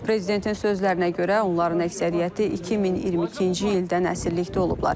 Prezidentin sözlərinə görə, onların əksəriyyəti 2022-ci ildən əsirlikdə olublar.